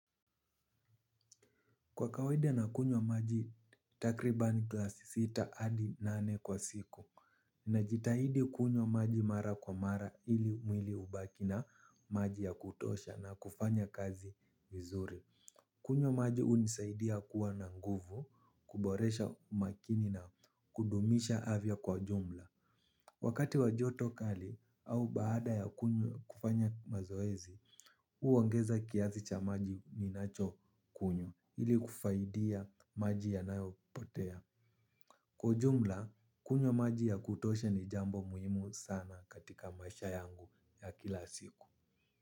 Kwa kawaida na kunywa maji takribani glasi sita hadi nane kwa siku. Ninajitahidi kunywa maji mara kwa mara ili mwili ubaki na maji ya kutosha na kufanya kazi vizuri. Kunywa maji unisaidia kuwa na nguvu kuboresha umakini na kudumisha avya kwa jumla. Wakati wa joto kali au baada ya kunywa kufanya mazoezi uongeza kiasi cha maji ni nacho kunywa ili kufaidia maji yanayopotea. Kwa ujumla, kunywa maji ya kutosha ni jambo muhimu sana katika maisha yangu ya kila siku.